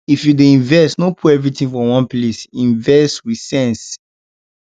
if you dey invest no put everything for one place invest with sense